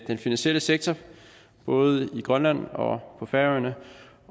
den finansielle sektor i både grønland og på færøerne